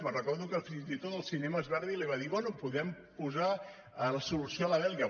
me’n recordo que fins i tot els cinemes verdi li va dir bé podem posar la solució a la belga